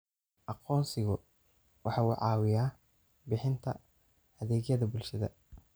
Aqoonsigu waxa uu caawiyaa bixinta adeegyada bulshada.